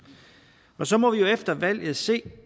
så må vi jo efter valget se